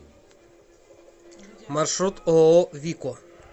маршрут ооо вико